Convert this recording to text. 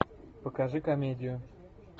покажи комедию